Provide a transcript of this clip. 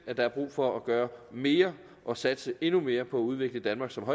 at der er brug for at gøre mere og satse endnu mere på at udvikle danmark som